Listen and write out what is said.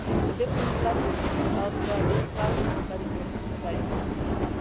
It was a different level of being proud, but it was a very important